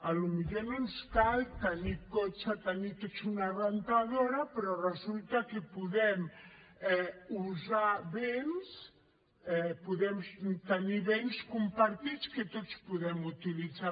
potser no ens cal tenir cotxe tenir tots una rentadora però resulta que podem usar béns podem tenir béns compartits que tots podem utilitzar